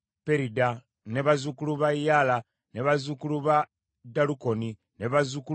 bazzukulu ba Yaala, bazzukulu ba Dalukoni, bazzukulu ba Gidderi,